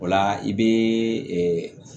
O la i bɛ